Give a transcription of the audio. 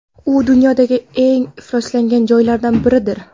U dunyodagi eng ifloslangan joylardan biridir.